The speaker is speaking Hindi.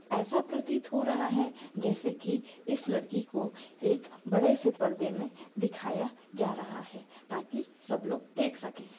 ऐसा प्रतीत हो रहा है जैसे की इस लड़की को एक बड़े से परदे में दिखाया जा रहा है ताकि सब लोग देख सके--